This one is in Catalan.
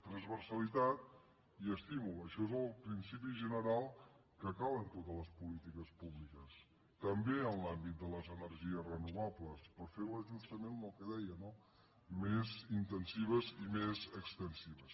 transversalitat i estímul això és el principi general que cal en totes les polítiques públiques també en l’àmbit de les energies renovables per fer·les justament el que deia no més intensives i més extensives